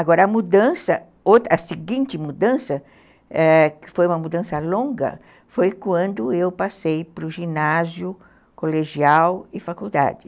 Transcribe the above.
Agora, a mudança, a seguinte mudança, eh, que foi uma mudança longa, foi quando eu passei para o ginásio, colegial e faculdade.